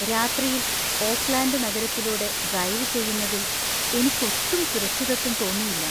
രാത്രിയിൽ ഓക്ക്‌ലാൻഡ് നഗരത്തിലൂടെ ഡ്രൈവ് ചെയ്യുന്നതിൽ എനിക്കൊട്ടും സുരക്ഷിതത്വം തോന്നിയില്ല.